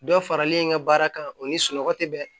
Dɔ faralen in ka baara kan o ni sunɔgɔ tɛ bɛn